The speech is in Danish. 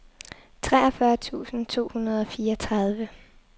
treogfyrre tusind to hundrede og fireogtredive